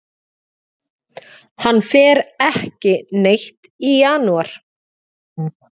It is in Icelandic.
Hann fer ekki neitt í janúar.